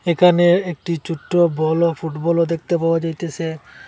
একানে একটি চোটটো বলও ফুটবলও দেখতে পাওয়া যাইতেসে।